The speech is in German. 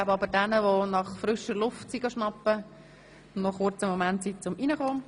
Wir geben, jenen, die draussen frische Luft geschnappt haben, einen kurzen Moment Zeit, um hereinzukommen.